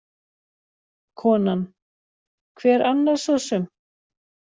Konan: Hver annar sosum?